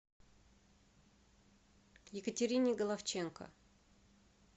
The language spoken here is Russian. екатерине головченко